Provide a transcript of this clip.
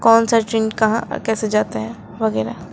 कौन सा ट्रेन कहाँ और कैसे जाते हैं वगैरा।